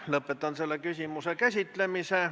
Lõpetan selle küsimuse käsitlemise.